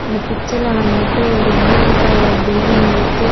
இந்த பிக்சர்ல வந்துட்டு ஒரு கிரீன் கலர் பில்டிங் இருக்கு.